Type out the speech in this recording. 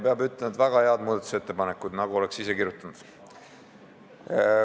Peab ütlema, et väga head muudatusettepanekud, nagu oleks ise kirjutanud.